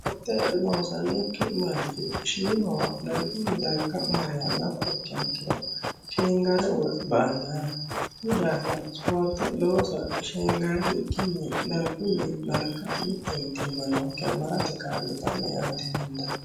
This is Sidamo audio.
gate loosanokki manchi shiimawa dargunni darga mariha nafa ikkiha ikkiro sheengare uwe ba"anno yaate hakuyi dafiira ispoorte loosa sheengarikinni darguyii darga mitte mitiimma nookkiha marate ka'litanno yaate